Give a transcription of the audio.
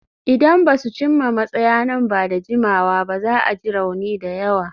Idan ba su cimma matsaya nan ba da jimawa ba, za a ji rauni da yawa.